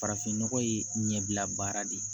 Farafin nɔgɔ ye ɲɛbila baara de ye